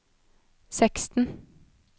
seksten